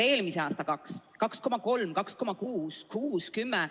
Eelmise aasta 2%, siis 2,3, 2,6, 6, 10 ...